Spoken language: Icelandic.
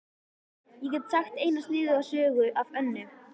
Ég get sagt eina sniðuga sögu af Önnu.